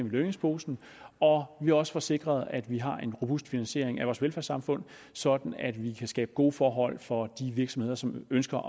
i lønningsposen og at vi også får sikret at vi har en robust finansiering af vores velfærdssamfund sådan at vi kan skabe gode forhold for de virksomheder som ønsker